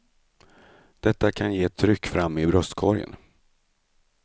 Detta kan ge ett tryck fram i bröstkorgen.